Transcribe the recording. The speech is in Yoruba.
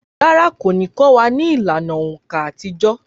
Rárá, kò ní kọ́ wa ní ìlànà òǹkà àtijọ́